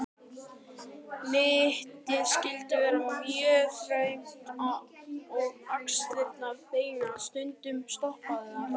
Mittið skyldi vera mjög þröngt og axlirnar beinar, stundum stoppaðar.